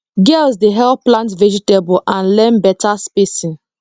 girls dey help plant vegetable and learn better spacing